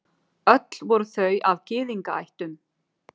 Öll voru þau af Gyðingaættum.